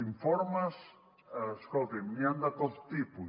informes escoltin n’hi han de tot tipus